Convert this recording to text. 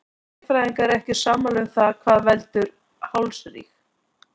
Sérfræðingar eru ekki sammála um það hvað veldur hálsríg.